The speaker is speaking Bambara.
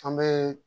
An bɛ